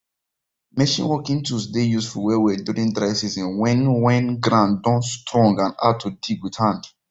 machine working tools dey useful wellwell during dry season when when ground don strong and hard to dig with hand